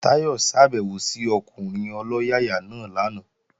Táyọ̀ ṣàbèwò sí ọkùnrin ọlọ́yàyà náà lánàá